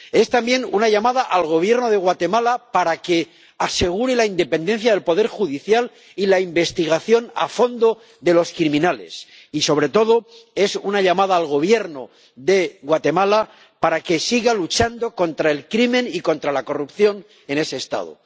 Es, también, una llamada al Gobierno de Guatemala para que asegure la independencia del poder judicial y la investigación a fondo de los criminales y, sobre todo, es una llamada al Gobierno de Guatemala para que siga luchando contra el crimen y contra la corrupción en ese Estado.